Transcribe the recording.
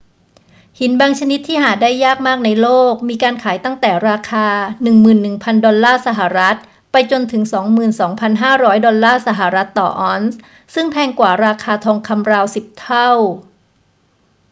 หินบางชนิดที่หาได้ยากมากในโลก มีการขายตั้งแต่ราคา 11,000 ดอลลาร์สหรัฐไปจนถึง 22,500 ดอลลาร์สหรัฐต่อออนซ์ ซึ่งแพงกว่าราคาทองคำราวสิบเท่า